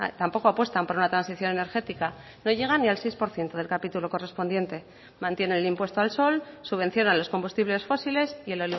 tampoco apuestan por una transición energética no llegan ni al seis por ciento del capítulo correspondiente mantiene el impuesto al sol subvenciona los combustibles fósiles y el